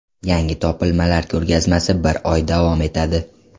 Yangi topilmalar ko‘rgazmasi bir oy davom etadi.